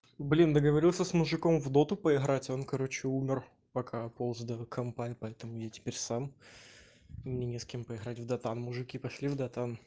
блин договорился с мужиком в доту поиграть он короче умер пока полз до компа и поэтому я теперь сам и мне не с кем поиграть в дотан мужики пошли в дотан